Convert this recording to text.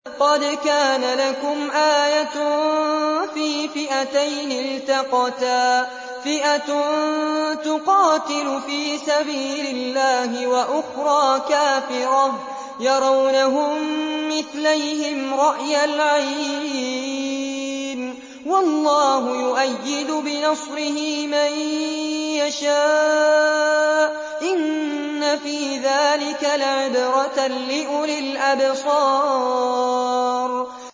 قَدْ كَانَ لَكُمْ آيَةٌ فِي فِئَتَيْنِ الْتَقَتَا ۖ فِئَةٌ تُقَاتِلُ فِي سَبِيلِ اللَّهِ وَأُخْرَىٰ كَافِرَةٌ يَرَوْنَهُم مِّثْلَيْهِمْ رَأْيَ الْعَيْنِ ۚ وَاللَّهُ يُؤَيِّدُ بِنَصْرِهِ مَن يَشَاءُ ۗ إِنَّ فِي ذَٰلِكَ لَعِبْرَةً لِّأُولِي الْأَبْصَارِ